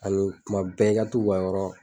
Ani tuma bɛɛ i ka to k'u ka yɔrɔ